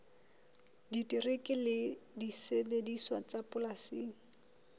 terekere le disebediswa tsa polasing